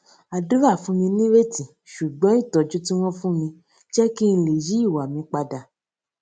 àdúrà fún mi nírètí ṣùgbón ìtójú tí wón fún mi jé kí n lè yí ìwà mi padà